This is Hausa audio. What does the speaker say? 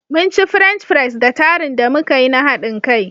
Munci French fries da tarun da muka yi na haɗin kai.